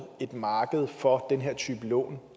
et marked for den her type lån